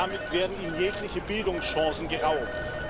Damit werden ihnen jegliche Bildungschancen geraubt.